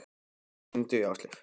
Eikar, hringdu í Ásleif.